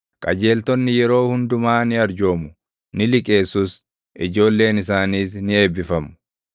Qajeeltonni yeroo hundumaa ni arjoomu; ni liqeessus; ijoolleen isaaniis ni eebbifamu.